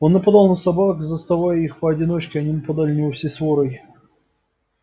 он нападал на собак заставая их поодиночке они нападали на него всей сворой